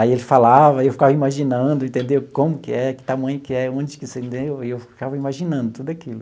Aí ele falava, eu ficava imaginando, entendeu, como que é, que tamanho que é, onde que se, e eu ficava imaginando tudo aquilo.